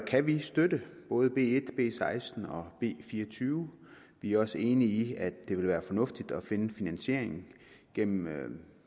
kan vi støtte både b en b seksten og b fireogtyvende vi er også enige i at det vil være fornuftigt at finde finansieringen gennem